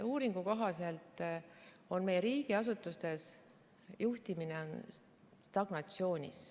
Uuringu kohaselt on meie riigiasutustes juhtimine stagnatsioonis.